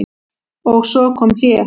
Og svo kom hlé.